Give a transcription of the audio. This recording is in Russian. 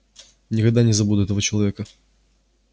никогда не забуду этого человека